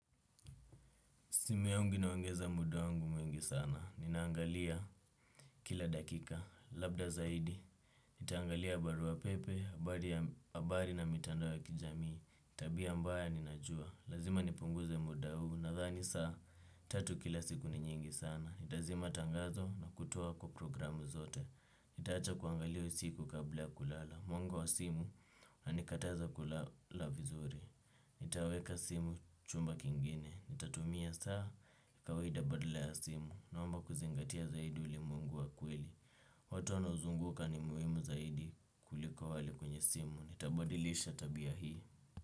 Simu yangu inaongeza muda wangu mwingi sana. Ninaangalia kila dakika labda zaidi. Nitaangalia barua pepe, habari na mitandao ya kijamii. Tabia mbaya ninajua. Lazima nipunguze muda huu. Nadhani saa tatu kila siku ni nyingi sana. Nitazima tangazo na kutoa kwa programu zote. Nitaacha kuangalia usiku kabla ya kulala. Mwanga wa simu, unanikataza kulala vizuri. Nitaweka simu chumba kingine. Nitatumia saa kawaida badala ya simu. Naomba kuzingatia zaidi ulimwengu wa kweli. Watu wanaozunguka ni muhimu zaidi kuliko wale kwenye simu. Nitabadilisha tabia hii.